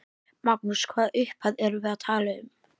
Magnús: Hvaða upphæð erum við að tala um?